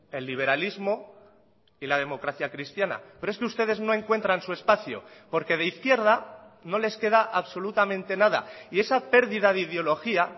el liberalismo y la democracia cristiana pero es que ustedes no encuentran su espacio porque de izquierda no les queda absolutamente nada y esa pérdida de ideología